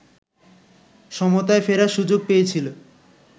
সমতায় ফেরার সুযোগ পেয়েছিল